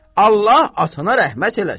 Allah atana rəhmət eləsin!